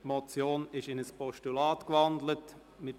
Die Motion ist in ein Postulat gewandelt worden.